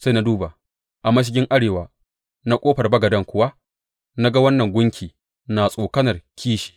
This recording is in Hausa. Sai na duba, a mashigin arewa na ƙofar bagaden kuwa na ga wannan gunki na tsokanar kishi.